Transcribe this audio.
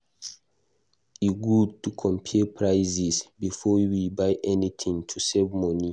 E good to compare prices before we buy anything to save money.